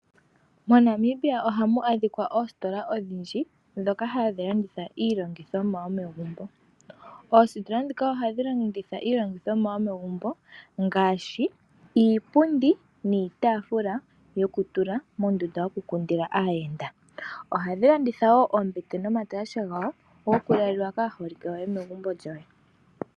Mo Namibia ohamu adhika oositola odhindji ndhoka hadhi landitha iilandithomwa yomegumbo. Oositola ndhoka ohadhi landitha iilandithomwa yomegumbo ngaashi iipundi niitaafula yoku tula mondunda yoku kundila aayenda. Ohadhi landitha wo oombete nomatalashe gawo gokulalwa kaaholike yoye megumbo lyoye.